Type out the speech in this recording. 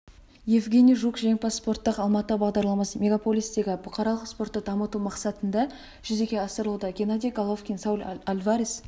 евгений жук жеңімпаз спорттық алматы бағдарламасы мегаполистегі бұқаралық спортты дамыту мақсатында жүзеге асырылуда геннадий головкинсауль альварес